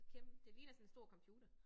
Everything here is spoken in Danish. Kæm det ligner sådan stor computer